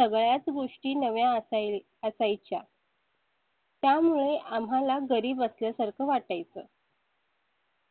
सगळ्याच गोष्टी नव्या असायच्या त्यामुळे आम्हाला गरीब असल्या सारखं वाटाय चं